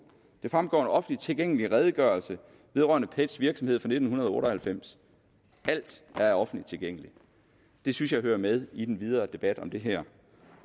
det fremgår af en offentligt tilgængelig redegørelse vedrørende pets virksomhed fra nitten otte og halvfems alt er offentligt tilgængeligt det synes jeg hører med i den videre debat om det her